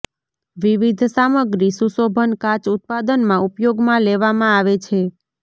વિવિધ સામગ્રી સુશોભન કાચ ઉત્પાદનમાં ઉપયોગમાં લેવામાં આવે છે